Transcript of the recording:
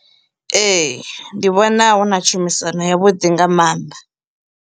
Ee, ndi vhona huna tshumisano ya vhuḓi nga maanḓa.